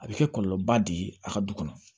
A bɛ kɛ kɔlɔlɔba de ye a ka du kɔnɔ